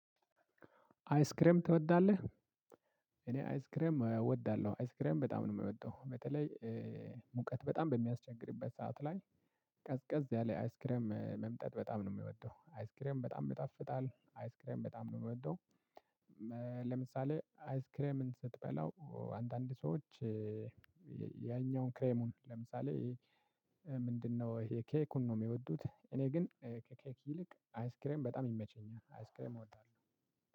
አይስክሬም ትወዳለህ? እኔ አይስክሬም እወዳለሁ አይስክሬም በጣም ነው የምወደው። በተለይ ሙቀት በጣም በሚያስቸግርበት ሰዓት ላይ። ቀዝቀዝ ያለ አይስክሬም መምጠጥ በጣም ነው የሚወደው። አይስክሬም በጣም ይጣፍጣል አይስክሬም በጣም ነው የምወደው። ለምሳሌ አይስክሬምን ስትበላው አንዳንድ ሰዎች ያኛውን ክሬሙን ለምሳሌ ምንድነው ይሄ ኬኩን ነው የሚወዱት። እኔ ግን ከኬክ ይልቅ አይስክሬም በጣም ይመቸኛል። አይስክሬም እወጣለሁ።